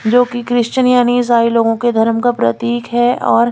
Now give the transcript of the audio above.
जो की क्रिस्चियन यानि सारे लोगो के धर्म का प्रतीक है और--